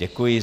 Děkuji.